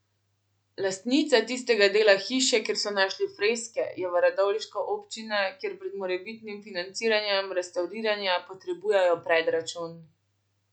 Lastnica tistega dela hiše, kjer so našli freske, je v radovljiška občina, kjer pred morebitnim financiranjem restavriranja potrebujejo predračun.